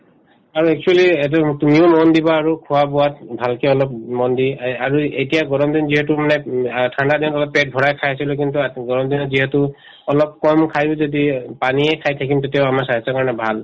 আৰু actually এইটো উম তুমিও মন দিবা আৰু খোৱা-বোৱাত ভালকে অলপ মন দি আ আৰু এতিয়া গৰম দিন যিহেতু মানে উম আ ঠাণ্ডাদিনত অলপ পেট ভৰাই খাইছিলো কিন্তু গৰম দিনত যিহেতু অলপ কম খায়ো যদি পানীয়ে খাই থাকিম তেতিয়াও আমাৰ স্বাস্থ্যৰ কাৰণে ভাল